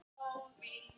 Já vá!